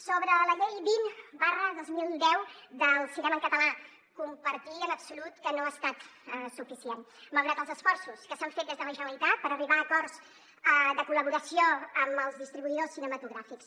sobre la llei vint dos mil deu del cinema en català compartir en absolut que no ha estat suficient malgrat els esforços que s’han fet des de la generalitat per arribar a acords de col·laboració amb els distribuïdors cinematogràfics